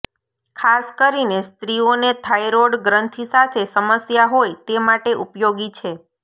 ખાસ કરીને સ્ત્રીઓને થાઇરોઇડ ગ્રંથિ સાથે સમસ્યા હોય તે માટે ઉપયોગી છે